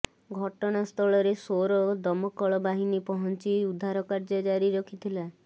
ଘଟଣା ସ୍ଥଳରେ ସୋର ଦମକଳ ବାହିନୀ ପହଞ୍ଚି ଉଦ୍ଧାର କାର୍ଯ୍ୟ ଜାରି ରଖିଥିଲା